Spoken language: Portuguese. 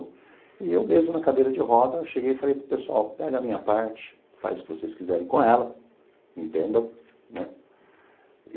E eu mesmo, na cadeira de roda, eu cheguei e falei para o pessoal, pega a minha parte, faz o que vocês quiserem com ela, entenda, né?